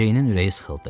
Ceynin ürəyi sıxıldı.